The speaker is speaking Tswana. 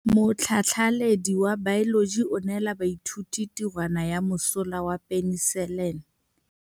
Motlhatlhaledi wa baeloji o neela baithuti tirwana ya mosola wa peniselene.